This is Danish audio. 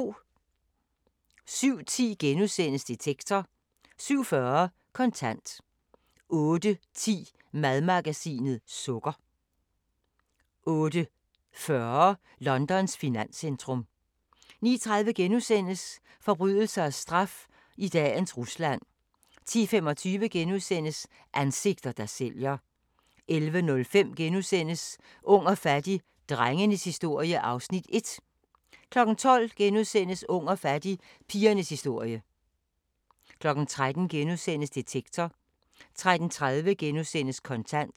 07:10: Detektor * 07:40: Kontant 08:10: Madmagasinet – sukker 08:40: Londons finanscentrum 09:30: Forbrydelse og straf i dagens Rusland * 10:25: Ansigter, der sælger * 11:05: Ung og fattig - drengenes historie (Afs. 1)* 12:00: Ung og fattig – pigernes historie * 13:00: Detektor * 13:30: Kontant *